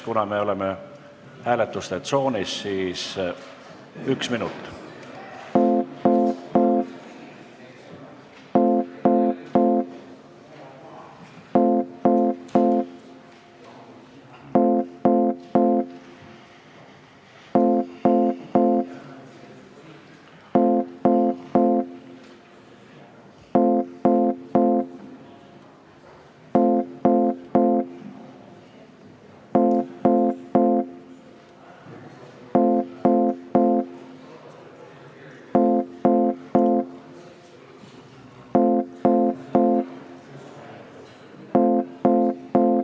Kuna me oleme hääletuste tsoonis, siis annan aega ühe minuti.